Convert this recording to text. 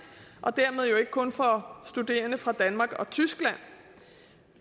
og dermed ikke kun for studerende fra danmark og tyskland